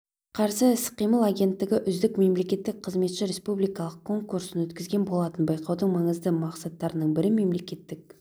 қарсы іс-қимыл агенттігі үздік мемлекеттік қызметші республикалық конкурсын өткізген болатын байқаудың маңызды мақсаттарының бірі мемлекеттік